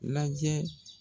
Lajɛ